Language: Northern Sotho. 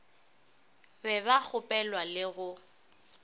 be ba gopolwa le go